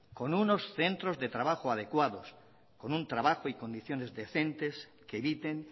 con unos centros de trabajo adecuados con un trabajo y condiciones decentes que eviten